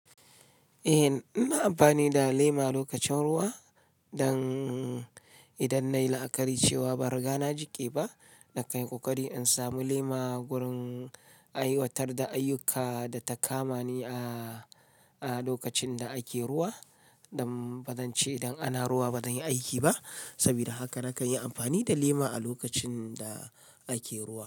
Eh, ina amfani da lema lokacin ruwa, don idan na yi la'akari cewa ban riga na jiƙe ba, na kanyi ƙoƙari in samu lema gurin ai watar da ayyuka da ta kama ni a, a lokacin da ake ruwa. Don ba zan ce idan ana ruwa ba zan yi aiki ba. Saboda haka na kan yi amfani da lema a lokacin da ake ruwa.